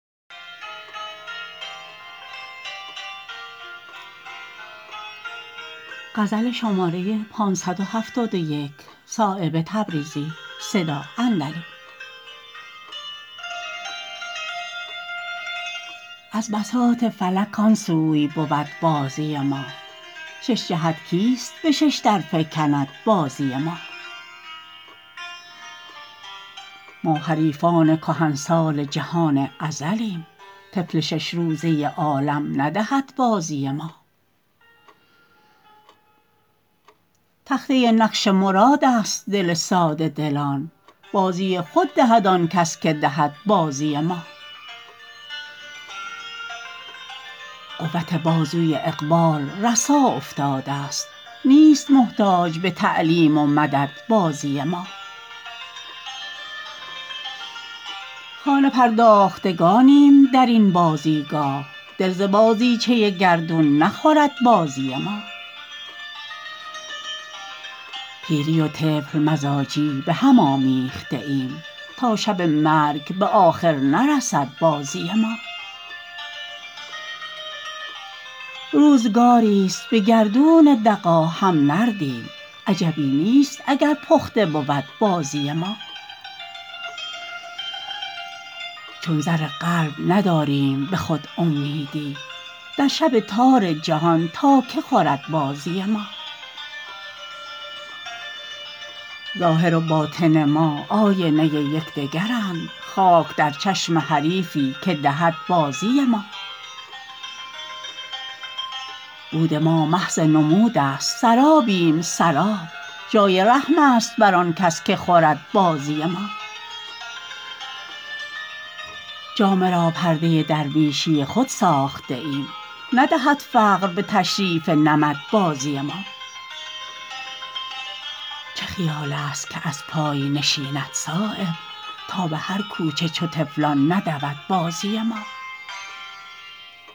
از بساط فلک آن سوی بود بازی ما شش جهت کیست به ششدر فکند بازی ما ما حریفان کهنسال جهان ازلیم طفل شش روزه عالم ندهد بازی ما تخته نقش مرادست دل ساده دلان بازی خود دهد آن کس که دهد بازی ما قوت بازوی اقبال رسا افتاده است نیست محتاج به تعلیم و مدد بازی ما خانه پرداختگانیم درین بازیگاه دل ز بازیچه گردون نخورد بازی ما پیری و طفل مزاجی به هم آمیخته ایم تا شب مرگ به آخر نرسد بازی ما روزگاری است به گردون دغا هم نردیم عجبی نیست اگر پخته بود بازی ما چون زر قلب نداریم به خود امیدی در شب تار جهان تا که خورد بازی ما ظاهر و باطن ما آینه یکدگرند خاک در چشم حریفی که دهد بازی ما بود ما محض نمودست سرابیم سراب جای رحم است بر آن کس که خورد بازی ما جامه را پرده درویشی خود ساخته ایم ندهد فقر به تشریف نمد بازی ما چه خیال است که از پای نشیند صایب تا به هر کوچه چو طفلان ندود بازی ما